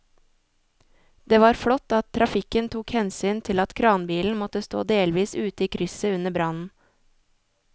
Det var flott at trafikken tok hensyn til at kranbilen måtte stå delvis ute i krysset under brannen.